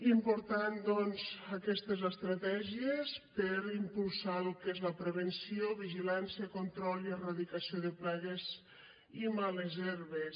importants doncs aquestes estratègies per impulsar el que és la prevenció vigilància control i erradicació de plagues i males herbes